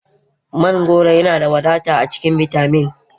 Mangoro yana da wadata a cikin bitamin